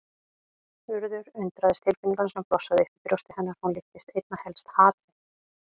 Urður undraðist tilfinninguna sem blossaði upp í brjósti hennar, hún líktist einna helst hatri.